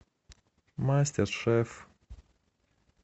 мастер шеф